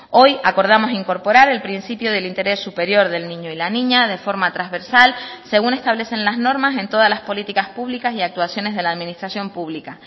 hoy acordamos incorporar el principio del interés superior del niño y la niña de forma transversal según establecen las normas en todas las políticas públicas y actuaciones de la administración pública